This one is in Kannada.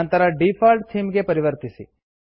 ನಂತರ ಡಿಫಾಲ್ಟ್ ಥೀಮ್ ಗೆ ಪರಿವರ್ತಿಸಿ